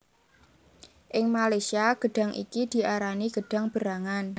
Ing Malaysia gedhang iki diarani gedhang berangan